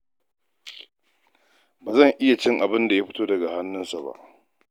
Ba zan iya cin abinda ya fito daga hannunsu ba.